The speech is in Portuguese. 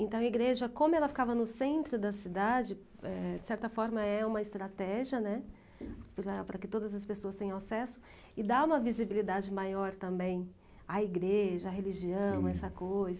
Então, a igreja, como ela ficava no centro da cidade, eh, de certa forma é uma estratégia, né, apesar, para que todas as pessoas tenham acesso, e dá uma visibilidade maior também à igreja, à religião, a essa coisa.